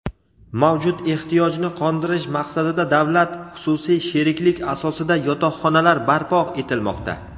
Mavjud ehtiyojni qondirish maqsadida davlat xususiy sheriklik asosida yotoqxonalar barpo etilmoqda.